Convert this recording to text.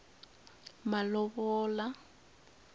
malovola